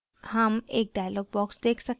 हम एक dialog box देख सकते हैं